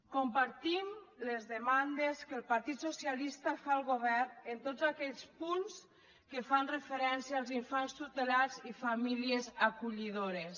compartim les demandes que el partit socialista fa al govern en tots aquells punts que fan referència als infants tutelats i famílies acollidores